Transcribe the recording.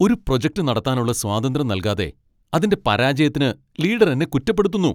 ഒരു പ്രൊജക്റ്റ്‌ നടത്താനുള്ള സ്വാതന്ത്ര്യം നൽകാതെ അതിന്റെ പരാജയത്തിന് ലീഡർ എന്നെ കുറ്റപ്പെടുത്തുന്നു.